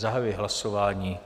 Zahajuji hlasování.